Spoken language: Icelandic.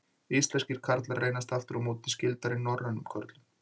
Íslenskir karlar reynast aftur á móti skyldari norrænum körlum.